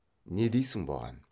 не дейсің бұған